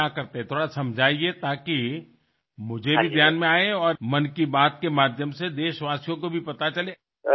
आपण नक्की काय करत होता थोडं समजावून सांगा म्हणजे मलाही समजेल आणि मन की बात कार्यक्रमाच्या माध्यमातून देशवासीयांना सुद्धा समजेल